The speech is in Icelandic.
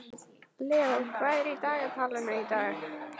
Leó, hvað er í dagatalinu í dag?